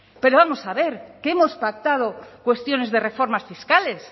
pero vamos a ver que hemos pactado cuestiones de reformas fiscales